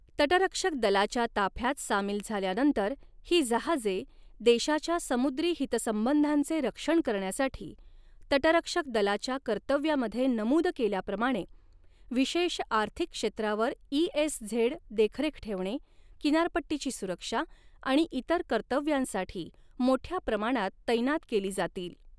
तटरक्षक दलाच्या ताफ्यात सामील झाल्यानंतर ही जहाजे देशाच्या समुद्री हितसंबंधांचे रक्षण करण्यासाठी तटरक्षक दलाच्या कर्तव्यामध्ये नमूद केल्याप्रमाणे विशेष आर्थिक क्षेत्रावर ईएसझेड देखरेख ठेवणे, किनारपट्टीची सुरक्षा आणि इतर कर्तव्यांसाठी मोठ्या प्रमाणात तैनात केली जातील.